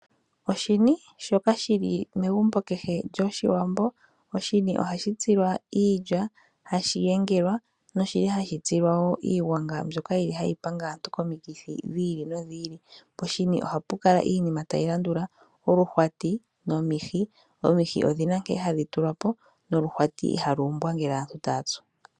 Oshini shoka shili megumbo kehe lyOshiwambo .Oshini ohashi tsilwa iilya ,ohashi yengelwa noshili hashi tsilwa wo iigwanga mbyoka yili hayi ponga aantu yomikithi dhi ili nodhi ili .Poshini ohapu kala iinima tayi landula :oluhwati nomihi. Omihi odhi na nkene hadhi tulwa po noluhwati ihalu umbwa ngele aantu taya tsu.